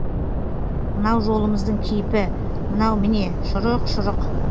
мынау жолымыздың кейпі мынау міне шұрық шұрық